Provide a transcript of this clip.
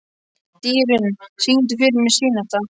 Dýrunn, syngdu fyrir mig „Syneta“.